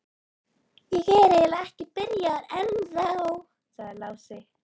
Ég er eiginlega ekki byrjaður ennþá, sagði Lási.